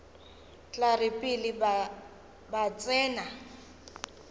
tla re pele ba tsena